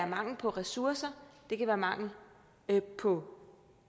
mangel på ressourcer det kan være mangel på